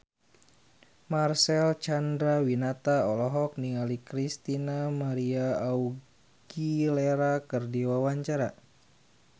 Marcel Chandrawinata olohok ningali Christina María Aguilera keur diwawancara